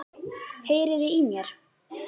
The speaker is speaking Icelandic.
Heyriði í mér?